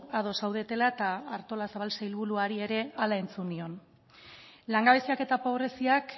ados zaudetela eta artolazabal sailburuari ere hala entzun nion langabeziak eta pobreziak